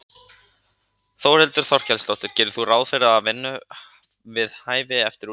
Þórhildur Þorkelsdóttir: Gerir þú ráð fyrir að fá vinnu við hæfi eftir útskrift?